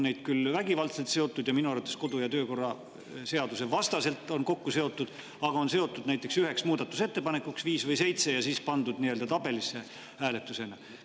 Neid on küll vägivaldselt ja minu arvates kodu‑ ja töökorra seaduse vastaselt kokku seotud, aga nad on seotud näiteks üheks muudatusettepanekuks, viis või seitse, ja siis on pandud tabelisse hääletuse jaoks.